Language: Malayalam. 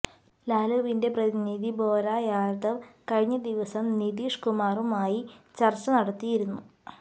ലാലുവിന്റെ പ്രതിനിധി ഭോലാ യാദവ് കഴിഞ്ഞ ദിവസം നിതീഷ് കുമാറുമായി ചര്ച്ച നടത്തിയിരുന്നു